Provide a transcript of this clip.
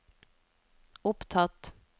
opptatt